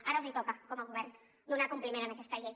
ara els toca com a govern donar compliment a aquesta llei